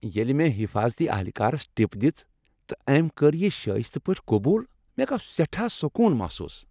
ییٚلہ مےٚ حفاضتی اہلکارس ٹپ دژ تہٕ أمۍ کٔر یہ شایستہ پٲٹھۍ قبوٗل، مےٚ گوٚو سیٹھا سکون محسوس۔